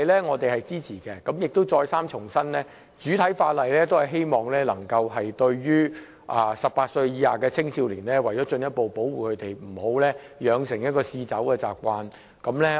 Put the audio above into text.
我們再三重申，主體法例是希望能夠進一步保護18歲以下的青少年，不要讓他們養成嗜酒習慣。